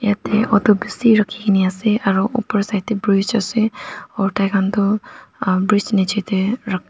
yatae auto bishi rakhi kaena ase aro opor side tae bridge ase aro tai khan toh bridge nichatae.